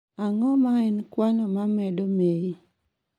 ang'o ma en kwano ma medo ma y